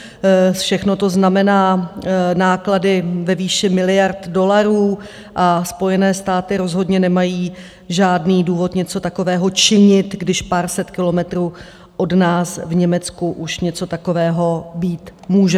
Všechno to znamená náklady ve výši miliard dolarů a Spojené státy rozhodně nemají žádný důvod něco takového činit, když pár set kilometrů od nás v Německu už něco takového být může.